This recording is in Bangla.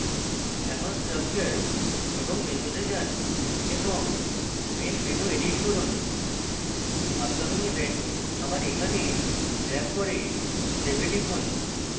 এখন structure এবং menus তে main এবং main menu edit করুন upcoming event আবার এখানে ড্রেগ করে save এ টিপুন